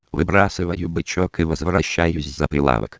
выбрасываю бычок и возвращаюсь за